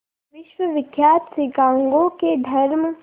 विश्वविख्यात शिकागो के धर्म